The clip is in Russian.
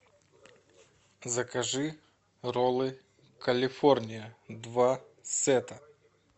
закажи роллы калифорния два сета